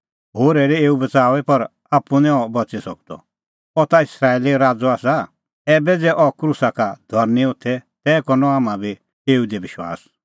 होर हेरै एऊ बच़ाऊई पर आप्पू निं अह बच़ी सकदअ अह ता इस्राएलो राज़अ आसा ऐबै ज़ै अह क्रूसा का धरनीं होथे तै करनअ हाम्हां बी एऊ दी विश्वास